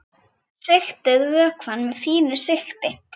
Sigtið vökvann með fínu sigti.